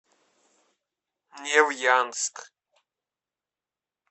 невьянск